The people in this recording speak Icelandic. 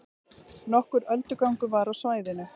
Nokkur öldugangur var á svæðinu